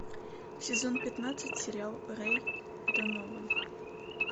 сезон пятнадцать сериал рэй донован